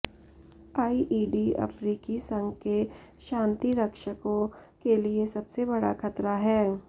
IED अफ्रीकी संघ के शांतिरक्षकों के लिए सबसे बड़ा खतरा है